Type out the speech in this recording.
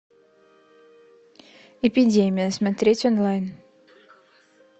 эпидемия смотреть онлайн